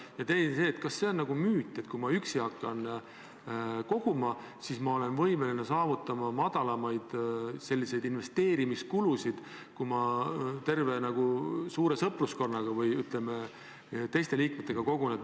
Ja teine küsimus: kas see on müüt, et kui ma hakkan koguma üksi, siis võivad minu investeerimiskulud olla väiksemad kui siis, kui kogun terve suure sõpruskonna või, ütleme, teiste liikmetega koos?